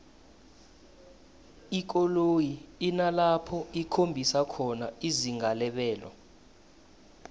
ikoloyi inalapho ikhombisa khona izinga lebelo